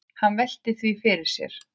Hann veltir því fyrir sér.